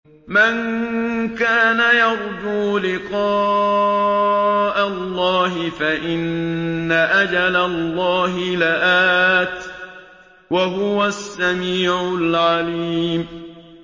مَن كَانَ يَرْجُو لِقَاءَ اللَّهِ فَإِنَّ أَجَلَ اللَّهِ لَآتٍ ۚ وَهُوَ السَّمِيعُ الْعَلِيمُ